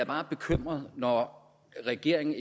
bare bekymret når regeringen